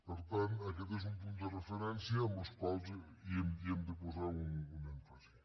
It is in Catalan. per tant aquest és un punt de referència en el qual hem de posar un èmfasi